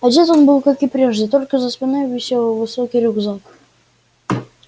одет он был как и прежде только за спиной висел высокий рюкзак